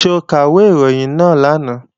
Ṣé o ka ìwé ìròyìn náà lánàá?